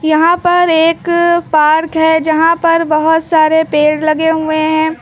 यहां पर एक पार्क है जहां पर बहोत सारे पेड़ लगे हुए हैं।